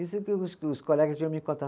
Isso que os, que os colegas vinham me contar.